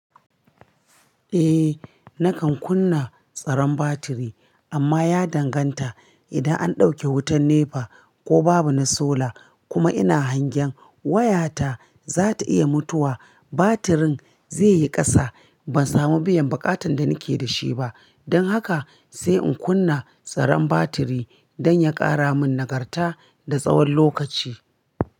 Eh nakan kunna tsaron batiri amma ya danganta idan an ɗauke wutan NEPA ko babu na sola kuma ina hangen wayata za ta iya mutuwa, batirin zaiyi kasa. Ban samu biyan buƙatan da nake da shi ba. Don haka sai in kunna tsaron batiri don ya ƙara min nagarta da tsawon lokaci.